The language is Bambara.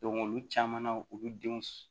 olu caman na olu denw